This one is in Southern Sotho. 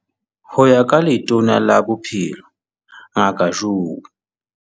Ho ya ka Letona la Bophelo Ngaka Joe